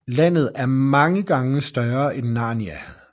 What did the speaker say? Landet er mange gange større end Narnia